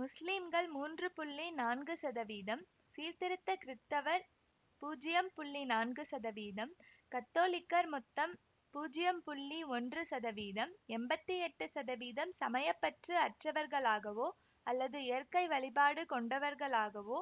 முஸ்லிம்கள் மூன்று புள்ளி நான்கு சதவீதம் சீர்திருத்த கிருத்தவர் பூஜ்யம் புள்ளி நான்கு சதவீதம் கத்தோலிக்கர் மொத்தம் பூஜ்யம் புள்ளி ஒன்று சதவீதம் எம்பத்தி எட்டு சதவீதம் சமய பற்று அற்றவர்களாகவோ அல்லது இயற்கை வழிபாடு கொண்டவர்களாகவோ